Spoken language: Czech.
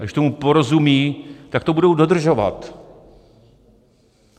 A když tomu porozumí, tak to budou dodržovat.